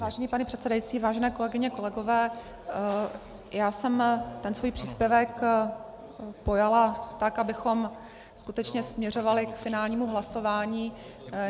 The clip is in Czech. Vážený pane předsedající, vážené kolegyně, kolegové, já jsem ten svůj příspěvek pojala tak, abychom skutečně směřovali k finálnímu hlasování.